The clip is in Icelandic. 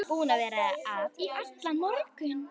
Búin að vera að í allan morgun.